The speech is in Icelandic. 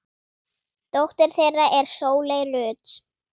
Dóttir þeirra er Sóley Rut.